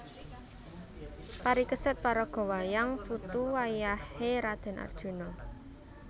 Parikesit paraga wayang putu wayah é Radèn Arjuna